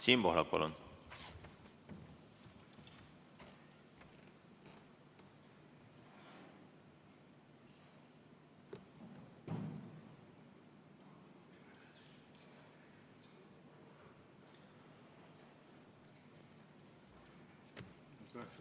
Siim Pohlak, palun!